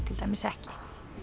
ekki